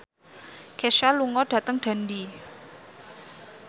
Kesha lunga dhateng Dundee